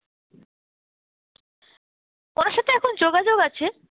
ওনার সাথে এখন যোগাযোগ আছে,